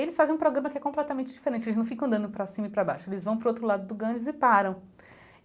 Eles fazem um programa que é completamente diferente, eles não ficam andando para cima e para baixo, eles vão para o outro lado do Ganges e param.